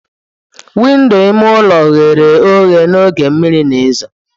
Windo ime ụlọ ghere oghe n'oge mmiri na ezo.